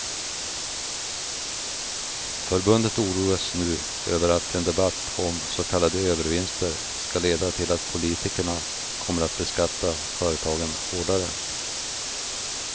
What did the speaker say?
Förbundet oroas nu över att en debatt om så kallade övervinster ska leda till att politikerna kommer att beskatta företagen hårdare.